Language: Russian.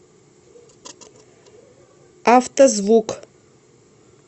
автозвук